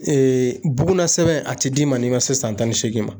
bugunnasɛbɛn a ti d'i ma n'i ma se san tan ni seegin ma